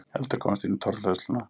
Eldur komst inn í torfhleðsluna